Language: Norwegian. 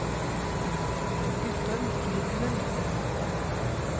Guttorm Frydenlund